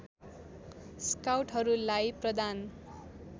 स्काउटहरूलाई प्रदान